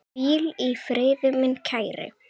Hvíl í friði, minn kæri.